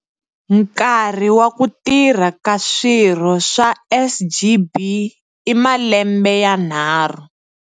Nkarhi wa ku tirha ka swirho swa SGB i malembe yanharhu.